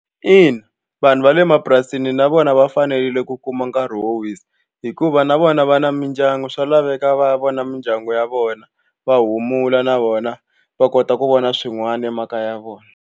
Ina vanhu va le mapurasini na vona va fanerile ku kuma nkarhi wo wisa hikuva na vona va na mindyangu swa laveka va ya vona mindyangu ya vona va humula na vona va kota ku vona swin'wana emakaya ya vona.